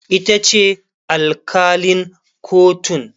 itace alkalin kotun